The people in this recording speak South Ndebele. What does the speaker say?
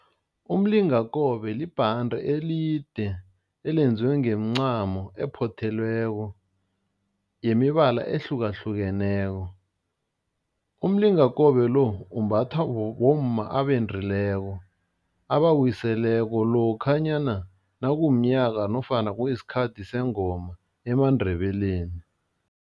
Umlingakobe libhande elide elenziwe ngemincamo ephothelweko yemibala ehlukahlukeneko, umlingakobe-lo umbathwa bomma abendileko, abawiseleko lokhanyana nakumnyaka nofana kuyisikhathi sengoma emaNdebeleni.